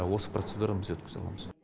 осы процедурамыз өткізе аламыз